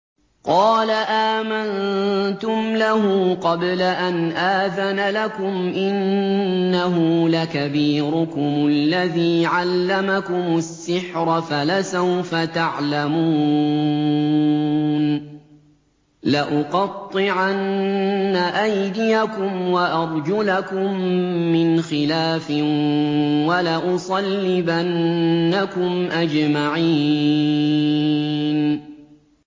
قَالَ آمَنتُمْ لَهُ قَبْلَ أَنْ آذَنَ لَكُمْ ۖ إِنَّهُ لَكَبِيرُكُمُ الَّذِي عَلَّمَكُمُ السِّحْرَ فَلَسَوْفَ تَعْلَمُونَ ۚ لَأُقَطِّعَنَّ أَيْدِيَكُمْ وَأَرْجُلَكُم مِّنْ خِلَافٍ وَلَأُصَلِّبَنَّكُمْ أَجْمَعِينَ